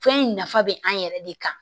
Fɛn in nafa bɛ an yɛrɛ de kan